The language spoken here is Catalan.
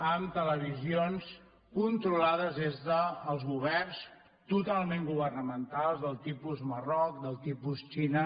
amb televisions controlades des dels governs totalment governamentals del tipus marroc del tipus xina